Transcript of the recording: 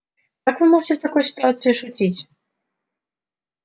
как вы можете в такой ситуации шутить